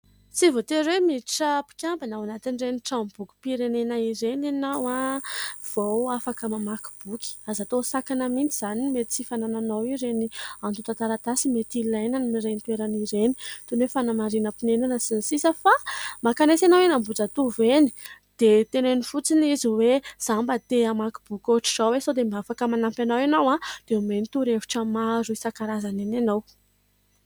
Tsy voatery hoe miditra mpikambana ao anatin'ireny tranom-boki-pirenena ireny ianao vao afaka mamaky boky, aza tao ho sakana mihintsy izany mety tsy fanananao ireny antonta-taratasy mety ilainy ireny toerana toy ny fanamarian-ponenana sy ny sisa fa maka eny ianao eny Ambohijatovo dia teneno fotsiny izy hoe za mba te hamaky boky ohatra izao sao dia mba afaka manampy anahy ianao dia homeny torihevitra maro isan-karazana eny ianao.